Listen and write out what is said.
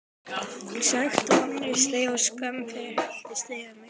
Sekt, vonleysi og skömm helltist yfir mig.